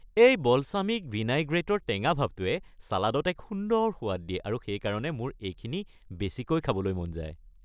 এই বলছামিক ভিনাইগ্ৰেটৰ টেঙা ভাৱটোৱে চালাডত এক সুন্দৰ সোৱাদ দিয়ে আৰু সেইকাৰণে মোৰ এইখিনি বেছিকৈ খাবলৈ মন যায়।